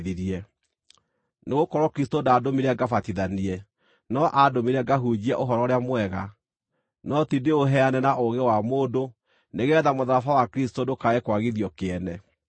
Nĩ gũkorwo Kristũ ndaandũmire ngabatithanie, no aandũmire ngahunjie Ũhoro-ũrĩa-Mwega, no ti ndĩũheane na ũũgĩ wa mũndũ, nĩgeetha mũtharaba wa Kristũ ndũkae kwagithio kĩene.